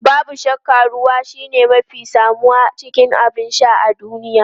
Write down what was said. Babu shakka ruwa shine mafi samuwa cikin abin sha a duniya.